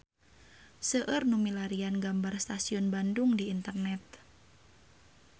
Seueur nu milarian gambar Stasiun Bandung di internet